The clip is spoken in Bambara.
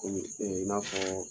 Komi, ee i n'a fɔ